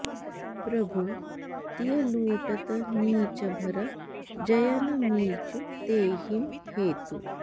प्रभु तिय लूटत नीच भर जय न मीचु तेहिं हेतु